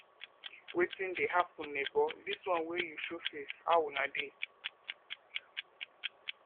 wetin dey happen nebor dis one wey you show face how una dey